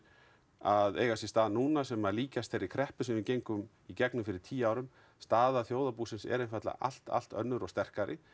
að eiga sér stað núna sem líkjast þeirri kreppu sem við gegnum í gegnum fyrir tíu árum staða þjóðarbúsins er allt allt önnur og sterkari